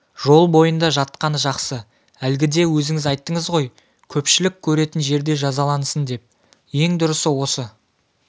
жол бойында жатқаны жақсы әлгіде өзіңіз айттыңыз ғой көпшілік көретін жерде жазалансын деп ең дұрысы осы